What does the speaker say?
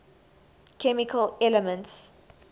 chemical elements